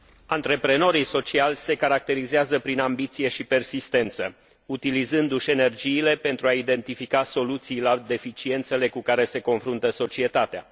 Antreprenorii sociali se caracterizează prin ambiție și persistență, utilizându și energiile pentru a identifica soluții la deficiențele cu care se confruntă societatea.